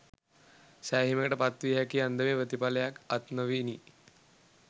සෑහීමකට පත්විය හැකි අන්දමේ ප්‍රතිඵලයක් අත් නොවිණි